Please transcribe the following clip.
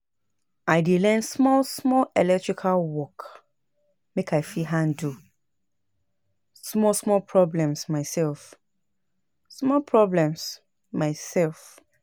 I dey learn small small electrical work make I fit handle small small problems myself, small problems myself